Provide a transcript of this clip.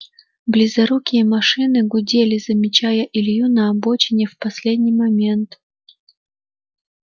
близорукие машины гудели замечая илью на обочине в последний момент